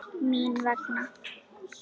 Mín vegna.